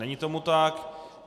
Není tomu tak.